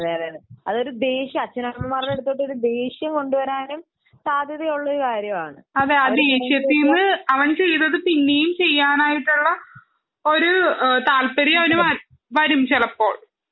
അതെയതെ അച്ഛനമ്മമാരുടെ അടുത്ത് ഒരു ദേഷ്യം കൊണ്ടുവരാനും സാധ്യതയുള്ള ഒരു കാര്യമാണ് അതെ ആ ദേഷ്യത്തിൽനിന്ന് അവൻ ചെയ്തത് പിന്നേം ചെയ്യാനായിട്ടുള്ള ഒരു താല്പര്യം അവനു വരും ചിലപ്പോൾ